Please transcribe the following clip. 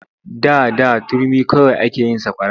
Da da turmi kawai ake yin sakwara.